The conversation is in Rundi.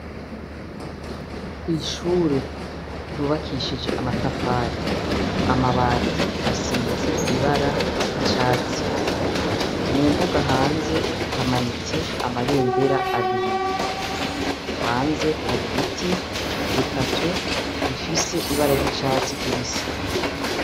Kw'ishure ryubakishije amatafari, amabati asize ibara ry'icatsi, mu mbuga hanze hamanitse amabendera abiri, hanze hari biti bitatu bifise ibara ry'icatsi kibisi.